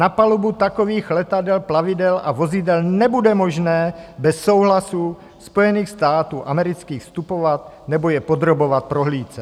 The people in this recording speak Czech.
Na palubu takových letadel, plavidel a vozidel nebude možné bez souhlasu Spojených států amerických vstupovat nebo je podrobovat prohlídce.